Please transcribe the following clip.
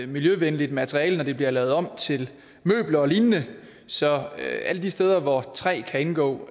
miljøvenligt materiale når det bliver lavet om til møbler og lignende så alle de steder hvor træ kan indgå